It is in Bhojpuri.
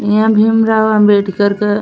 इहा भीमराव अम्बेडकर क --